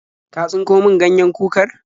Ka tsinko min ganyen kukar?